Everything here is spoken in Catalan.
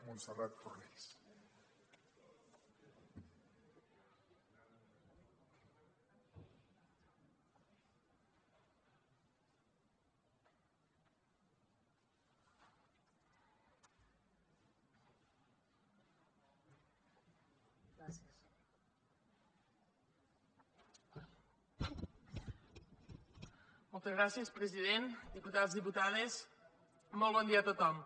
moltes gràcies president diputats diputades molt bon dia a tothom